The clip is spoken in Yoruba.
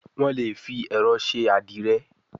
Wón lè fí ẹrọ ṣe adire